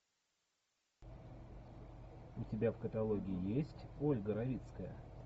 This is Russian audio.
у тебя в каталоге есть ольга равицкая